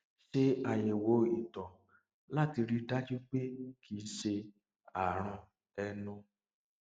ṣe àyẹwò ìtọ láti rí i dájú pé kì í ṣe àrùn ẹnu